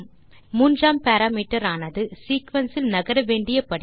மூன்றாம் பாராமீட்டர் ஆனது சீக்வென்ஸ் இல் நகர வேண்டிய படி